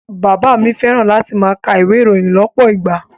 Bàbá mi fẹ́ràn láti máa ka ìwé ìròyìn lọ́pọ̀ ìgbà